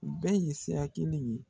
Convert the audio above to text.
U bɛɛ ye sira kelen ye